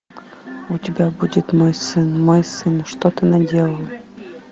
у тебя будет мой сын мой сын что ты наделал